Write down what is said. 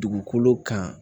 Dugukolo kan